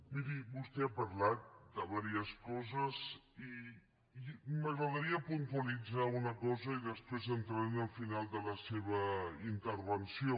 miri vostè ha parlat de diverses coses i m’agradaria puntualitzar una cosa i després entraré en el final de la seva intervenció